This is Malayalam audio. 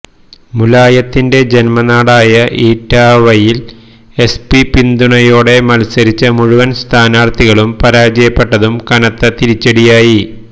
മുലായത്തിന്റെ ജന്മനാടായ ഇറ്റാവയിൽ എസ്പി പിന്തുണയോടെ മത്സരിച്ച മുഴുവൻ സ്ഥാനാർത്ഥികളും പരാജയപ്പെട്ടതും കനത്ത തിരിച്ചടിയായി